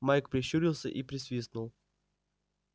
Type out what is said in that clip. майк прищурился и присвистнул